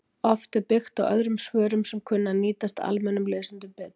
Oft er byggt á öðrum svörum sem kunna að nýtast almennum lesendum betur.